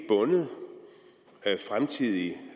bundet fremtidige